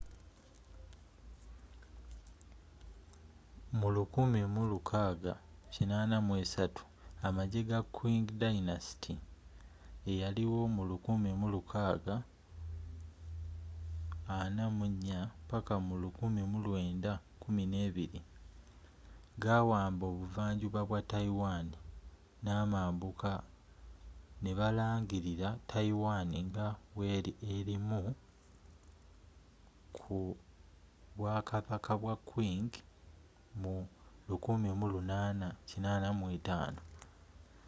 mu 1683 amajje ga qing dynasty1644-1912 gawamba obuvanjuba bwa taiwan n'amambuka ne balangirira taiwan nga weri erimu ku bwakabaka bwa qing mu 1885